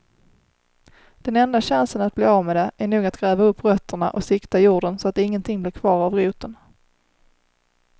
Den enda chansen att bli av med det är nog att gräva upp rötterna och sikta jorden så att ingenting blir kvar av roten.